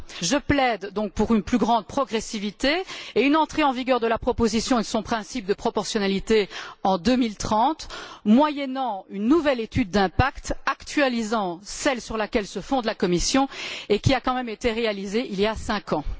Je plaide donc pour une plus grande progressivité et une entrée en vigueur de la proposition et de son principe de proportionnalité en 2030, moyennant une nouvelle étude d'impact actualisant celle sur laquelle se fonde la Commission et qui a été réalisée il y a tout de même cinq ans.